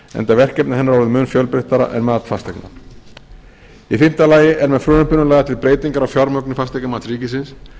enda verkefni hennar orðin mun fjölbreyttari en mat fasteigna í fimmta lagi eru með frumvarpinu lagðar til breytingar á fjármögnun fasteignamats ríkisins